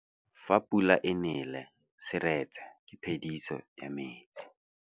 Fa pula e nelê serêtsê ke phêdisô ya metsi.